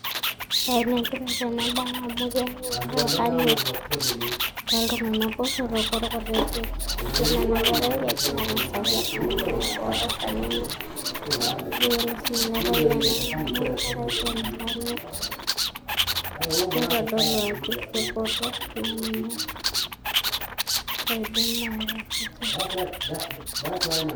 Ene tipat ena bae amu keyau enkanyit toltunganak botorok orkutitik .yiolo ena kerai kegira angasaki orpayian botor teninye. negira sininye ilo payian angamu enkerai te nkanyit nitodolu ajo kibotor teninye.